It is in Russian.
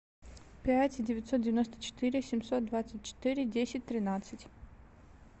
пять девятьсот девяносто четыре семьсот двадцать четыре десять тринадцать